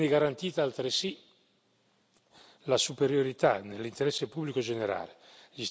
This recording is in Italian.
Viene garantita altresì la superiorità dell'interesse pubblico generale.